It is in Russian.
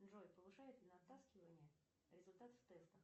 джой повышает ли натаскивание результат в тестах